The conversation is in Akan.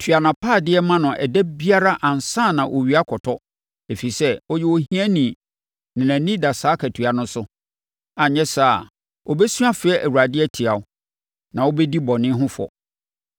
Tua nʼapaadeɛ ma no ɛda biara ansa na owia akɔtɔ, ɛfiri sɛ, ɔyɛ ohiani na nʼani da saa akatua no so. Anyɛ saa a, ɔbɛsu afrɛ Awurade atia wo, na wobɛdi bɔne ho fɔ.